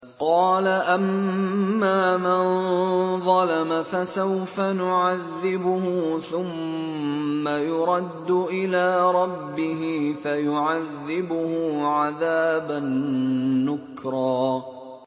قَالَ أَمَّا مَن ظَلَمَ فَسَوْفَ نُعَذِّبُهُ ثُمَّ يُرَدُّ إِلَىٰ رَبِّهِ فَيُعَذِّبُهُ عَذَابًا نُّكْرًا